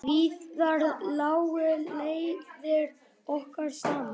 Víðar lágu leiðir okkar saman.